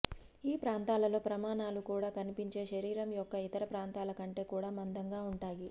ఈ ప్రాంతాలలో ప్రమాణాలు కూడా కనిపించే శరీరం యొక్క ఇతర ప్రాంతాల కంటే కూడా మందంగా ఉంటాయి